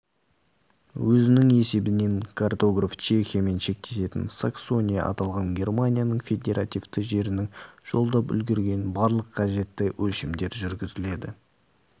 өзінің есебін картограф чехиямен шектесетін саксония аталған германияның федеративті жерінің жолдап үлгерген барлық қажетті өлшемдер жүргізіледі